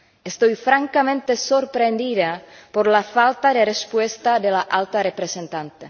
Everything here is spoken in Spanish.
Estoy francamente sorprendida por la falta de respuesta de la Alta Representante.